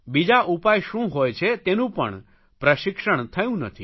બીજા ઉપાય શું હોય છે તેનું પણ પ્રશિક્ષણ થયું નથી